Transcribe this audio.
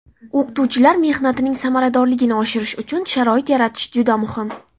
O‘qituvchilar mehnatining samaradorligini oshirish uchun sharoit yaratish juda muhim.